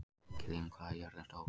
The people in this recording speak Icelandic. Ingilín, hvað er jörðin stór?